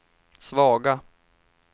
svaga